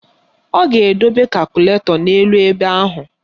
Ọ ga-edobe kakụlatọ n'elu ebe ahụ